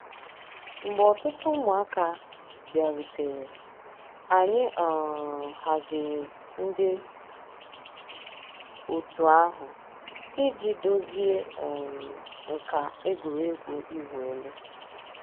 Mgbè òtùtù ǔ́mụ̀àkà bịàrùtèrè, ànyị̀ um hàzìri ńdí ọ̀tù àhụ̀ íjì dòzìe um nkà ègwè́régwụ̀ ị̀wụ̀ èlù.